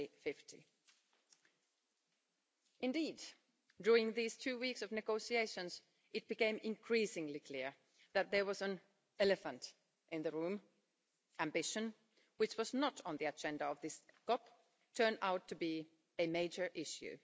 2050. Indeed, during these two weeks of negotiations, it became increasingly clear that there was an elephant in the room ambition, which was not on the agenda of this COP turned out to be a major issue.